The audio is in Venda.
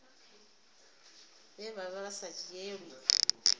vhe vha vha sa dzhielwi